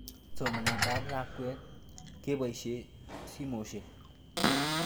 Somanet ab lakwet kepoishe simoshek